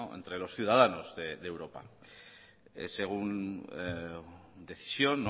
entre los ciudadanos de europa según decisión